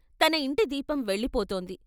తన యింటి దీపం వెళ్ళిపోతోంది...